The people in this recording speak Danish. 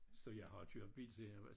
Så jeg har kørt bil siden jeg var